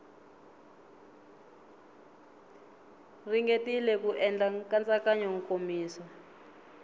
ringetile ku endla nkatsakanyo nkomiso